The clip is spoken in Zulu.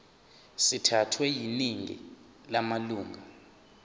sithathwe yiningi lamalunga